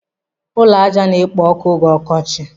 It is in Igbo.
Ụlọ ájá na-ekpo ọkụ oge ọkọchị.